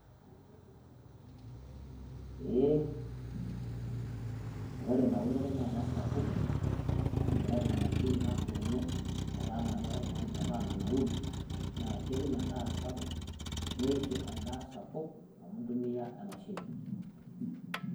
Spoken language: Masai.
Pee ore eunore naa kesapuku. Ore enea emashini natuuno etaa mee keko iltang'ani mee etaa menauuru, naa kewuen endaa sapuk neishu endaa sapuk amu entumia emashini.